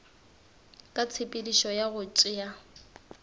ka tshepedišo ya go tšea